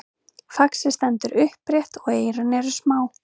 faxið stendur upprétt og eyrun eru smá